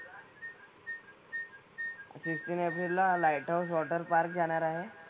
Fifteen एप्रिलला lighthouse water park जाणार आहे.